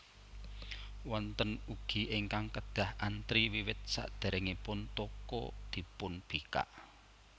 Wonten ugi ingkang kedah antri wiwit saderengipun toko dipunbikak